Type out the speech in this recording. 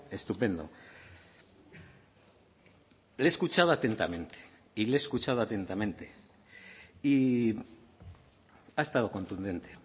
estupendo le he escuchado atentamente y le he escuchado atentamente y ha estado contundente